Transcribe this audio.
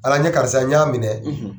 Ala n ye karisa ye, n y'a minɛ